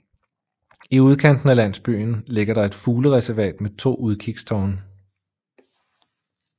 I udkanten af landsbyen ligger der et fuglereservat med to udkigstårne